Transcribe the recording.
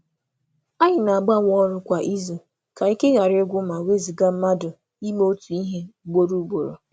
Anyị na-agbanwe ọrụ kwa izu ka ihe ghara ịgwụ ma ewezuga ime otu ihe otu ihe ugboro ugboro. um